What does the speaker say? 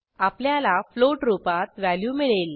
आपल्याला फ्लोट रुपात व्हॅल्यू मिळेल